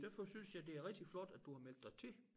Derfor synes jeg det er rigtig flot at du har meldt dig til